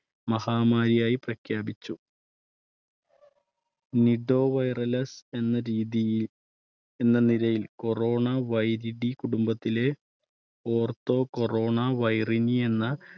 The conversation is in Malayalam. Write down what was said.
മഹാമാരിയായി പ്രഖ്യാപിച്ചു nido virales എന്ന രീതിയിൽ എന്ന നിലയിൽ corona കുടുംബത്തിലെ ortho corona viridae എന്ന